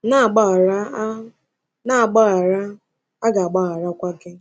“Na-agbaghara, a “Na-agbaghara, a ga-agbagharakwa gị.”